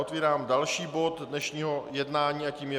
Otvírám další bod dnešního jednání a tím je